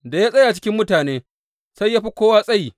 Da ya tsaya cikin mutane, sai ya fi kowa tsayi.